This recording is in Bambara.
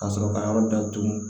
Ka sɔrɔ ka yɔrɔ datugu